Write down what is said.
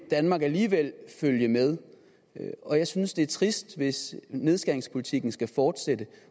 danmark alligevel følge med og jeg synes det er trist hvis nedskæringspolitikken skal fortsætte